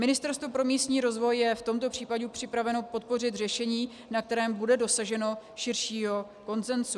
Ministerstvo pro místní rozvoj je v tomto případě připraveno podpořit řešení, na kterém bude dosaženo širšího konsenzu.